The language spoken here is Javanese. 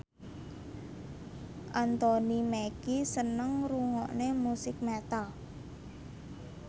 Anthony Mackie seneng ngrungokne musik metal